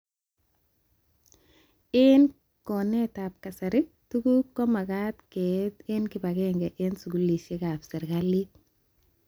Eng konetab kasarii, tuguk komagat keet ek kibagenge eng skulishek ak serialit